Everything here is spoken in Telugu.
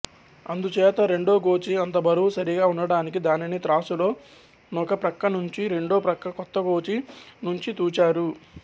అందుచేత రెండోగోచీ అంతబరువు సరిగా ఉండడానికి దానిని త్రాసులో నొకప్రక్కనుంచి రెండో ప్రక్క క్రొత్తగోచీ నుంచి తూచారు